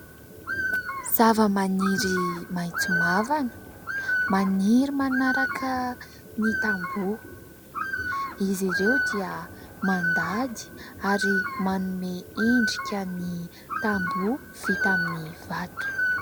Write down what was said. Zavamaniry maitso mavana maniry manaraka ny tamboho. Izy ireo dia mandady ary manome endrika ny tambo vita amin'ny vato.